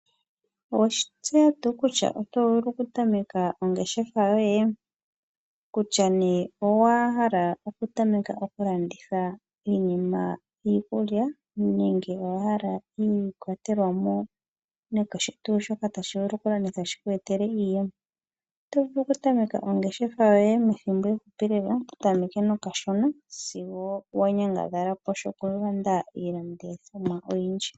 Oweshi tseya tuu kutya oto vulu okutameka ongeshefa yoye? Kutya nduno owa kala okutameka okulanditha iikulya nenge owa hala iikwatelwa nakehe tuu shoka tashi vulu okulandithwa shi ku etele iiyemo. Oto vulu okutameka ongeshefa yoye methimbo efupi lela to tameke nokashona sigo wa nyangadhala po shokulanda iilandithomwa oyindji.